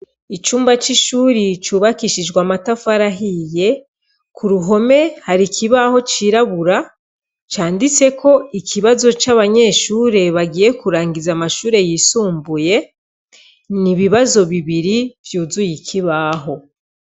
Icumba c'ishure cubakishijwe amatafari ahiye, k'uruhome hari ikibaho cirabura, canditseko ikibazo c'abanyeshure bagiye kurangiza amashure yisumbuye, n'ibibazo bibiri vyuzuye ikibaho.